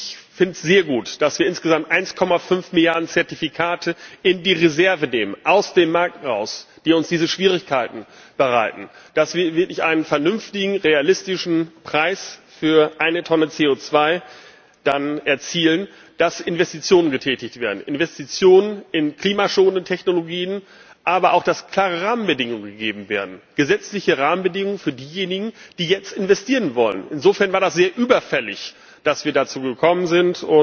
Ich finde es sehr gut, dass wir insgesamt 1,5 Mrd. Zertifikate in die Reserve nehmen aus dem Markt heraus die uns diese Schwierigkeiten bereiten, dass wir dann wirklich einen vernünftigen realistischen Preis für eine Tonne CO2 erzielen, dass Investitionen getätigt werden Investitionen in klimaschonende Technologien aber auch, dass klare Rahmenbedingungen gegeben werden, gesetzliche Rahmenbedingungen für diejenigen, die jetzt investieren wollen. Insofern war das sehr überfällig, dass wir dazu gekommen sind.